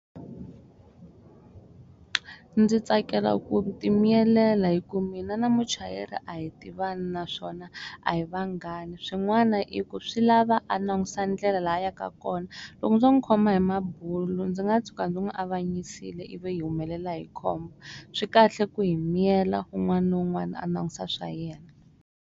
Ndzi tsakela ku ti miyelela hi ku mina na muchayeri a hi tivani naswona a hi vanghana swin'wana i ku swi lava a langusa ndlela laha a yaka kona loko ndzo n'wi khoma hi mabulo ndzi nga tshuka ndzi n'wi avanyisiwile ivi hi humelela hi khombo swi kahle ku hi miyela wun'wana na wun'wana a langusa swa yena.